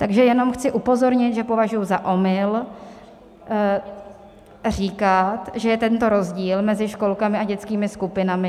Takže jenom chci upozornit, že považuji za omyl říkat, že je tento rozdíl mezi školkami a dětskými skupinami.